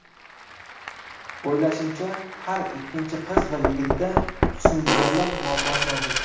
O‘ylashimcha, har ikkinchi qiz va yigitda husnbuzarlar muammosi mavjud.